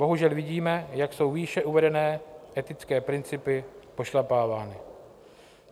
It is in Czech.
Bohužel vidíme, jak jsou výše uvedené etické principy pošlapávány.